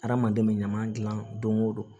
Adamaden bɛ ɲama dilan dongo don